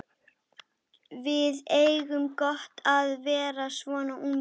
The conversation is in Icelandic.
Mikael, hvaða vikudagur er í dag?